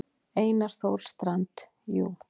Einar Þór Strand: Jú.